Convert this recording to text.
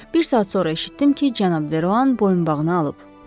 Bir saat sonra eşitdim ki, cənab Deroan boyunbağını alıb.